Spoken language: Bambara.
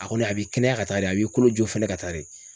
A kɔni a b'i kɛnɛya ka taa de, a b'i kolo jo fɛnɛ ka taa de.